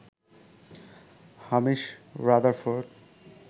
Hamish Rutherford